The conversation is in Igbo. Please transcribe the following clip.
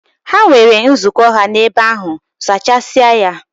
Ha nwere nzukọ ha n'ebe ahụ, zachasịa ya!